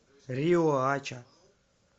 риоача